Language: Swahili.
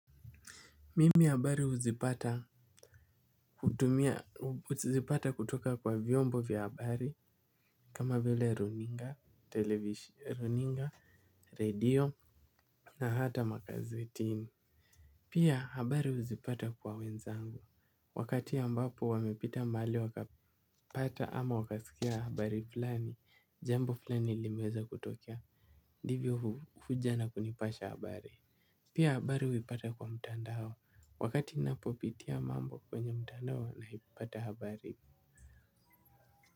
Mimi habari uzipata kutumia uzipata kutoka kwa vyombo vya habari kama vile runninga radio na hata magazetini pia habari huzipata kwa wenzangu wakati ambapo wamepita mali wakapata ama wakasikia habari flani jambo flani limeweza kutokea. Divyo huja na kunipasha habari pia habari huipata kwa mtandao. Wakati napopitia mambo kwenye mtandao nahi pata habari.